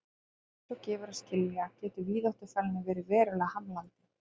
Eins og gefur að skilja getur víðáttufælni verið verulega hamlandi.